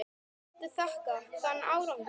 Hverju viltu þakka þann árangur?